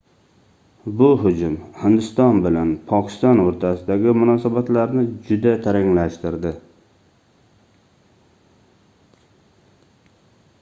bu hujum hindiston bilan pokiston oʻrtasidagi munosanatlarni juda taranglashtirdi